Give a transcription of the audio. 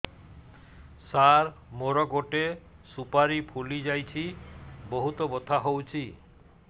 ସାର ମୋର ଗୋଟେ ସୁପାରୀ ଫୁଲିଯାଇଛି ବହୁତ ବଥା ହଉଛି